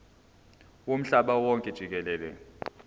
womhlaba wonke jikelele